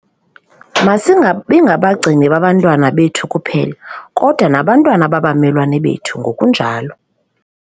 Masingabi ngabagcini babantwana bethu kuphela, kodwa nababantwana babamelwane bethu ngokunjalo.